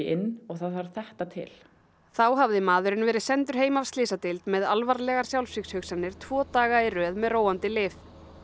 inn og það þarf þetta til þá hafði maðurinn verið sendur heim af slysadeild með alvarlegar sjálfsvígshugsanir tvo daga í röð með róandi lyf